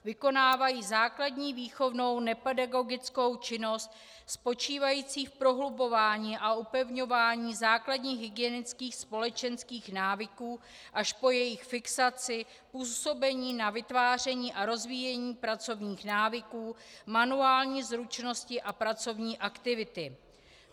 Vykonávají základní výchovnou nepedagogickou činnost spočívající v prohlubování a upevňování základních hygienických společenských návyků až po jejich fixaci, působení na vytváření a rozvíjení pracovních návyků, manuální zručnosti a pracovní aktivity.